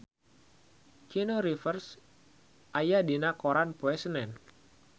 Keanu Reeves aya dina koran poe Senen